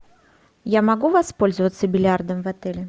я могу воспользоваться бильярдом в отеле